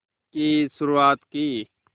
की शुरुआत की